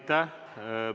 Aitäh!